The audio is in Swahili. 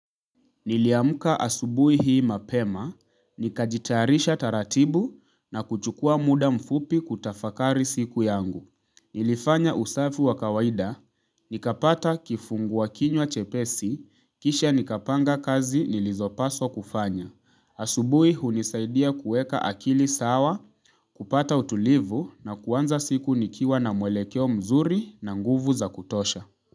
Niliamka asubuhi hii mapema, nikajitayarisha taratibu na kuchukua muda mfupi kutafakari siku yangu. Nilifanya usafi wa kawaida, nikapata kifungua kinywa chepesi, kisha nikapanga kazi nilizopaswa kufanya. Asubuhi hunisaidia kuweka akili sawa, kupata utulivu na kuanza siku nikiwa na mwelekeo mzuri na nguvu za kutosha.